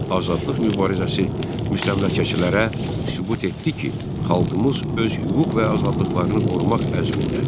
Azadlıq mübarizəsi müstəmləkəçilərə sübut etdi ki, xalqımız öz hüquq və azadlıqlarını qorumaq əzmindədir.